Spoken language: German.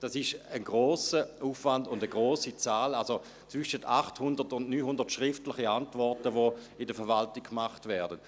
Das ist ein grosser Aufwand bei einer grossen Zahl, also zwischen 800 und 900 schriftlichen Antworten, die in der Verwaltung gemacht werden.